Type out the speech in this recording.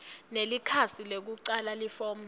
nelikhasi lekucala lelifomu